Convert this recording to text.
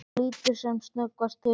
Hann lítur sem snöggvast til hennar.